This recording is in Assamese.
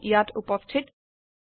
এইটিো ইয়াত উপস্থিত